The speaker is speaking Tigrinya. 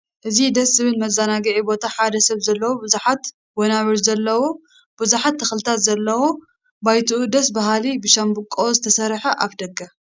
ኣብ ደስ ዝብል መዘናግዒ ቦታ ሓደ ሰብ ዘለዎ ብዙሓት ወናብር ዘለዎ ብዙሓት ተክልታት ዘለዎ ባይትኡ ደስ ብሃሊ ብሻንባቆ ዝተሰረሐ ኣፍ ደገ